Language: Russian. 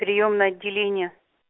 приёмное отделение